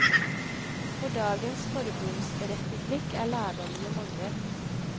For dagens forbundsrepublikk er lærdommene mange.